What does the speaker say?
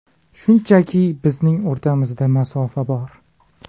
Shunchaki bizning o‘rtamizda masofa bor.